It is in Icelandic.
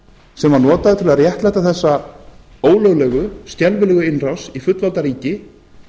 sem var notaður til að réttlæta þessa ólöglegu skelfilegu innrás í fullvalda ríki